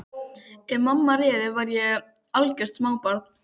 Ef mamma réði væri ég algjört smábarn.